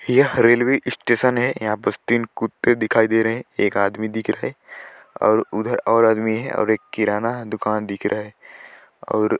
यह railway station है यहाँ पास तीन कुत्ते दिखाई दे रहे है एक आदमी दिख रहा है और उधर और आदमी है और एक किराना दुकान दिख रहा है और --